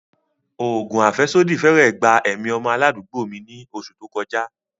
Oògùn afẹsodi fẹ́rẹ̀ẹ́ gba ẹ̀mí ọmọ aládùúgbò mi ní oṣù tó kọjá.